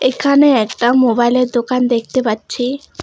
এখানে একটা মোবাইলের দোকান দেখতে পাচ্ছি।